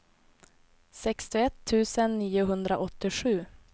sextioett tusen niohundraåttiosju